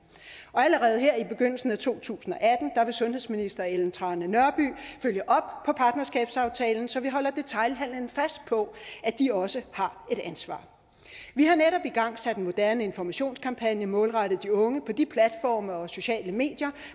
og allerede her i begyndelsen af to tusind og atten vil sundhedsministeren følge op på partnerskabsaftalen så vi holder detailhandelen fast på at de også har et ansvar vi har netop igangsat en moderne informationskampagne målrettet de unge på de platforme og sociale medier